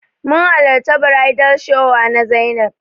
Mun hallarta bridal shower na Zainab.